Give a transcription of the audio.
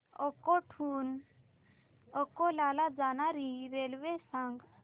अकोट हून अकोला ला जाणारी रेल्वे सांग